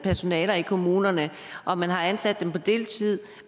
personale i kommunerne og man har ansat dem på deltid